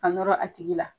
Ka nɔrɔ a tigi la